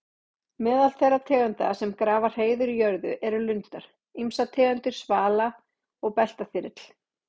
Meðal þeirra tegunda sem grafa hreiður í jörðu eru lundar, ýmsar tegundir svala og beltaþyrill.